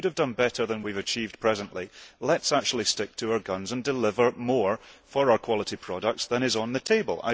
If we could have done better than we have achieved at present, let us stick to our guns and deliver more for our quality products than is on the table.